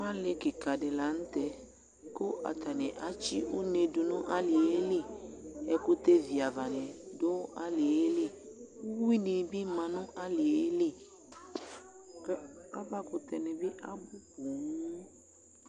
Alɩ kika di la n'tɛ ku atani atsi une du nu alie lɩ , ɛkutɛ vi ava ni du aliɛ li, uwui ni bi ma nu alie lɩ k'aʋa ku tɛ ni bi abu poo